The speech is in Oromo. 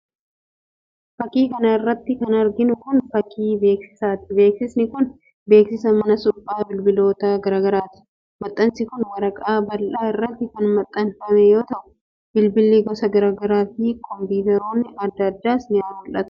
Fakkii kana irratti kan arginu kun, fakkii beeksisaati. Beeksisni kun beeksisa mana suphaa bilbiloota garaa garaati..Maxxansi kun waraqaa bal'aa irratti kan maxxanfame yoo ta'u, bilbilli gosa garaa garaa fi kompiitaroonni adda adaas ni mul'atu.